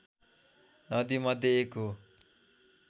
नदीमध्ये एक हो